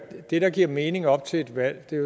det der giver mening op til et valg